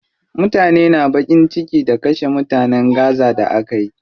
Mutane na baƙin ciki da kashe mutanen gaza da akeyi.